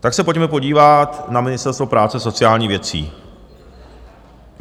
Tak se pojďme podívat na Ministerstvo práce a sociálních věcí.